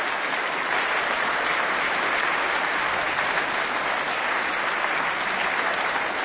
Vielen Dank, Herr Präsident! Ich darf mich herzlich bei Ihnen für Ihre doch sehr beeindruckenden Worte bedanken.